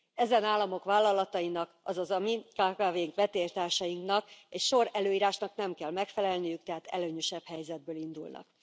Ezen államok vállalatainak azaz a mi kkv ink vetélytársaiknak egy sor előírásnak nem kell megfelelniük, tehát előnyösebb helyzetből indulnak.